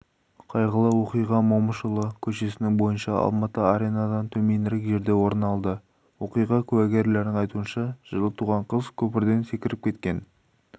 қайғылы оқиға момышұлы көшесінің бойынша алматы аренадан төменірек жерде орын алды оқиға куәгерлерінің айтуынша жылы туған қыз көпірден секіріп кеткен